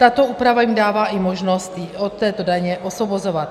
Tato úprava jim dává i možnost od této daně osvobozovat.